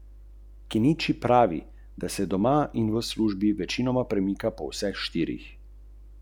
So spremembe, ki jih želite, v trenutnih političnih, socialnih in gospodarskih razmerah v Sloveniji mogoče?